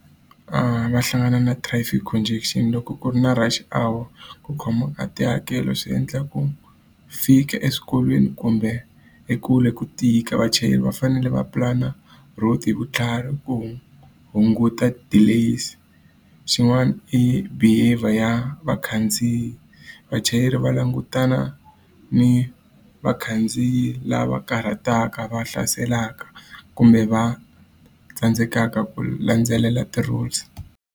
Va hlangana na traffic congestion loko ku ri na rush hour ku khoma ka tihakelo swi endla ku fika eswikolweni kumbe ekule ku tika. Vachayeri va fanele va pulana route hi vutlhari ku hunguta delays. Xin'wana i behaviour ya vakhandziyi, vachayeri va langutana ni vakhandziyi lava karhataka, va hlaselaka, kumbe va tsandzekaka ku landzelela ti-rules.